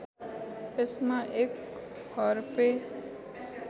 यसमा १ हरफे